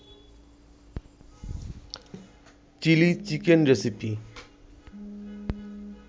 chilli chicken recipe